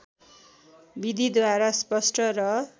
विधिद्वारा स्पष्ट र